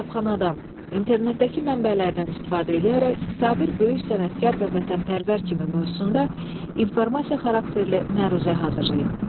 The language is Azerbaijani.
Kitabxanadan, internetdəki mənbələrdən istifadə eləyərək Sabir böyük sənətkar və vətənpərvər kimi mövzusunda informasiya xarakterli məruzə hazırlayın.